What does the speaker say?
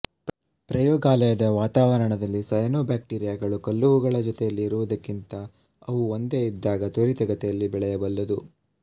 ಪ್ರಯೋಗಾಲಯದ ವಾತಾವರಣದಲ್ಲಿ ಸಯನೋಬ್ಯಾಕ್ಟೀರಿಯಾಗಳು ಕಲ್ಲುಹೂಗಳ ಜೊತೆಯಲ್ಲಿ ಇರುವುದಕ್ಕಿಂತ ಅವು ಒಂದೇ ಇದ್ದಾಗ ತ್ವರಿತಗತಿಯಲ್ಲಿ ಬೆಳೆಯಬಲ್ಲವು